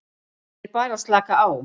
Ég er bara að slaka á.